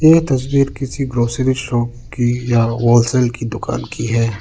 यह तस्वीर किसी ग्रॉसरी शॉप की या होलसेल की दुकान की है।